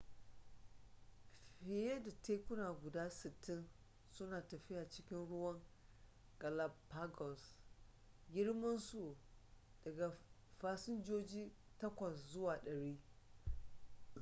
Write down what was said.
fiye da tekuna guda 60 suna tafiya cikin ruwan galapagos girman su daga fasinjoji 8 zuwa 100